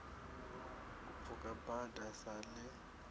u pfuka bada sa ḽi